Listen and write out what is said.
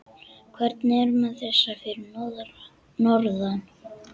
Hvernig er með þessa fyrir norðan?